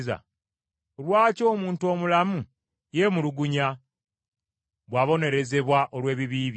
Lwaki omuntu omulamu yeemulugunya, bw’abonerezebwa olw’ebibi bye?